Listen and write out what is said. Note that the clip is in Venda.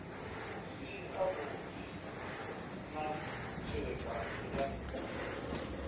si avhudi na tserekano ya